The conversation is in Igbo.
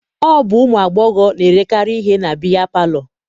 Ọ bụ ụmụ agbọghọ na-erekarị ihe na biya palọ.